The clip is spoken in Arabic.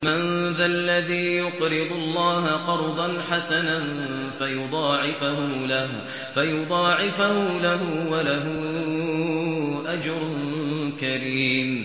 مَّن ذَا الَّذِي يُقْرِضُ اللَّهَ قَرْضًا حَسَنًا فَيُضَاعِفَهُ لَهُ وَلَهُ أَجْرٌ كَرِيمٌ